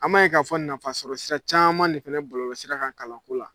An b'a ye k'a fɔ nafasɔrɔsira caman de fana bɔlɔlɔsira kan kalanko la